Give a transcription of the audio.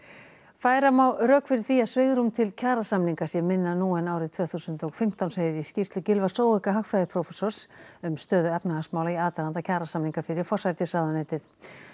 færa má rök fyrir því að svigrúm til kjarasamninga sé minna nú en árið tvö þúsund og fimmtán segir í skýrslu Gylfa hagfræðiprófessors um stöðu efnahagsmála í aðdraganda kjarasamninga fyrir forsætisráðuneytið